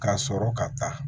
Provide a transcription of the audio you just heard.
Ka sɔrɔ ka taa